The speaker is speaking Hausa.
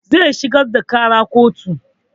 Zai shigar da ƙara kotu